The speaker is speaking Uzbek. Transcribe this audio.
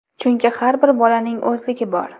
Chunki har bir bolaning o‘zligi bor.